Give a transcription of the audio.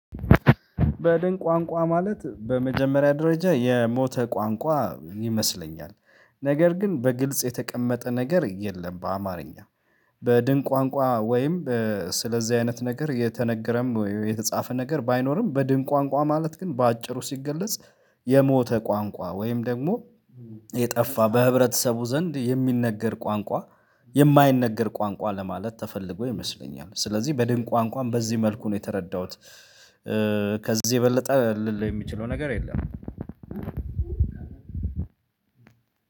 በድን ቋንቋ ማለት በመጀመሪያ ደረጃ የሞተ ቋንቋ ይመስለኛል ነገር ግን በግልጽ የተቀመጠ ነገር የለም በአማርኛ። በድን ቋንቋ ወይም። ስለዚህ አይነት ነገር የተነገረም የተጻፈ ነገር ባይኖርም በድንቅ ቋንቋ ማለት ግን በአጭሩ ሲገለጽ። የሞተ ቋንቋ ወይም ደግሞ የጠፋ በህብረተሰቡ ዘንድ የሚነገር ቋንቋ። የማይነገር ቋንቋ ለማለት ተፈልጎ ይመስለኛል ስለዚህ በድንቅ ቋንቋም በዚህ መልኩ ነው የተረዳሁት። ከዚህ የበለጠ ልል የሚችለው ነገር የለም።